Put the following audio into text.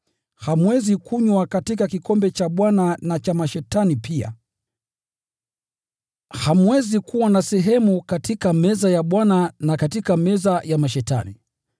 Hamwezi kunywa katika kikombe cha Bwana na cha mashetani pia. Hamwezi kuwa na sehemu katika meza ya Bwana na katika meza ya mashetani pia.